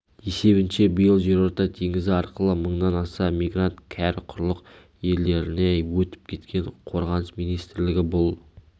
есебінше биыл жерорта теңізі арқылы мыңнан аса мигрант кәрі құрлық елдеріне өтіп кеткен қорғаныс министрлігі бұл